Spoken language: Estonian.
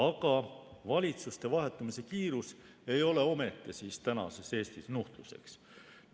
Aga valitsuste vahetumise kiirus ei ole ometi tänases Eestis nuhtluseks.